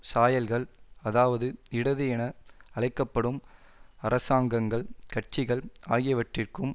சாயல்கள் அதாவது இடது என அழைக்க படும் அரசாங்கங்கள் கட்சிகள் ஆகியவற்றிற்கும்